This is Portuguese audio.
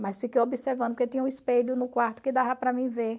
Mas fiquei observando, porque tinha um espelho no quarto que dava para mim ver.